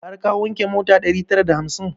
Har ka wanke mota ɗari tara da hamsin?